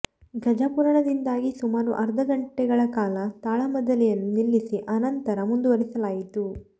ಗಜ ಪುರಾಣದಿಂದಾಗಿ ಸುಮಾರು ಅರ್ಧ ಗಂಟೆಗಳ ಕಾಲ ತಾಳಮದ್ದಳೆಯನ್ನು ನಿಲ್ಲಿಸಿ ಅನಂತರ ಮುಂದುವರಿಸಲಾಯಿತು